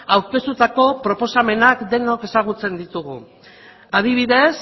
aurkeztutako proposamenak denok ezagutzen ditugu adibidez